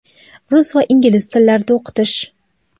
rus va ingliz tillarida o‘qitish.